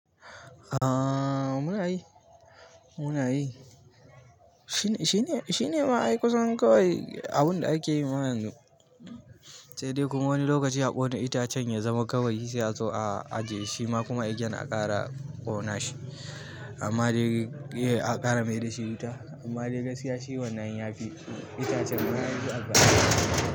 Aaa muna yi, muna yi. Shine, shine, shine ma ai kusan kawai abun da ake yi ma yanzu. Sai dai kuma wani lokaci a ƙona itacen ya zama gawayi sai a zo a ajiye shi ma kuma egen a ƙara ƙona shi. Amma dai ye a ƙara mai da shi wuta. Amma dai gaskiya shi wannan ya fi itacen ma yi a fi albarka.